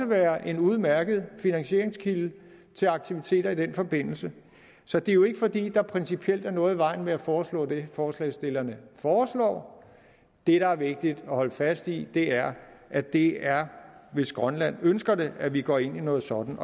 være en udmærket finansieringskilde til aktiviteter i den forbindelse så det er jo ikke fordi der principielt er noget i vejen med at foreslå det forslagsstillerne foreslår det der er vigtigt at holde fast i er at det er hvis grønland ønsker det at vi går ind i noget sådant